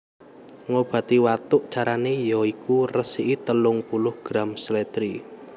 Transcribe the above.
Ngobati watuk Carane ya iku resiki telung puluh gram slèdri